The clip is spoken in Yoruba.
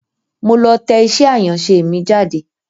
Mo lọ tẹ iṣẹ́ àyànṣe mi jáde.